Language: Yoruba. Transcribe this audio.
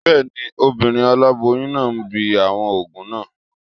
Bẹ́ẹ̀ni, obìnrin aláboyún náà ń bi àwọn òògùn náà